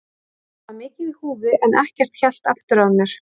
Þarna var mikið í húfi en ekkert hélt aftur af mér.